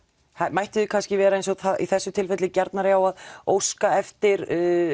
mættuð þið kannski vera eins og í þessu tilviki gjarnari á að óska eftir